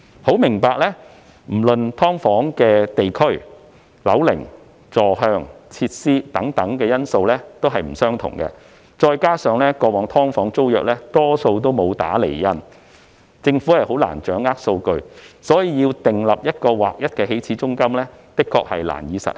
由於"劏房"的地區、樓齡、坐向、設施等因素大不相同，加上過往"劏房"租約大多沒有"打釐印"，政府難以掌握數據，所以要訂立劃一的起始租金，的確難以實行。